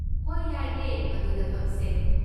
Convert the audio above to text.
ꯍꯣꯏ, ꯌꯥꯏꯌꯦ! ꯃꯗꯨꯗ ꯐꯝꯁꯦ꯫